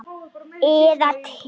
Eða til